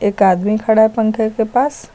एक आदमी खड़ा है पंखे के पास।